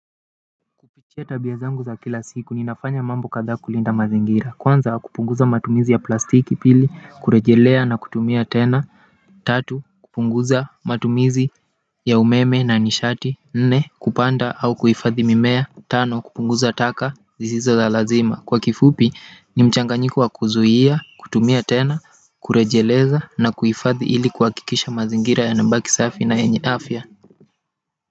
Kupitia tabia zangu za kila siku ninafanya mambo kadhaa kulinda mazingira. Kwanza kupunguza matumizi ya plastiki, pili kurejelea na kutumia tena tatu kupunguza matumizi ya umeme na nishati. Nne, kupanda au kuhifadhi mimea. Tano, kupunguza taka zisizolazima. Kwa kifupi ni mchanganyiko wa kuzuia, kutumia tena, kurejeleza na kuhifadhi ili kuhakikisha mazingira yanabaki safi na yenye afya.